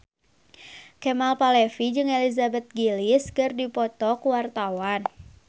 Kemal Palevi jeung Elizabeth Gillies keur dipoto ku wartawan